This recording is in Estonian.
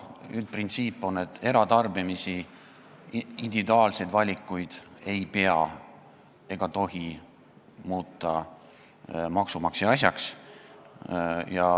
Üldprintsiip on, et eratarbimist, individuaalseid valikuid ei pea muutma ega tohi muuta maksumaksja asjaks.